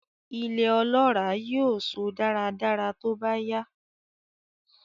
Ilẹ̀ ọlọ́ràá yóò so dáradára tóbá yá.